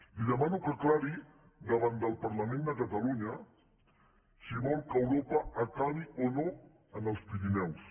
li demano que aclareixi davant del parlament de catalunya si vol que europa acabi o no en els pirineus